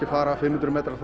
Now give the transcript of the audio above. að fara fimm hundruð metra